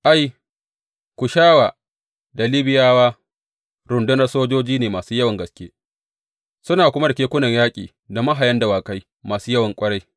Ai, Kushawa da Libiyawa rundunar sojoji ne masu yawan gaske, suna kuma da kekunan yaƙi da mahayan dawakai masu yawa ƙwarai.